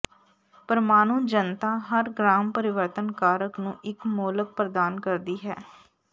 ਪ੍ਰਮਾਣੂ ਜਨਤਾ ਹਰ ਗ੍ਰਾਮ ਪਰਿਵਰਤਨ ਕਾਰਕ ਨੂੰ ਇੱਕ ਮੋਲਕ ਪ੍ਰਦਾਨ ਕਰਦੀ ਹੈ